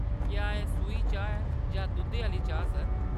क्या एह् सूही चाह्‌‌ ऐ जां दुद्धै आह्‌‌‌ली चाह्‌‌, सर ?